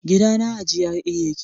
gidana a GRA ya ke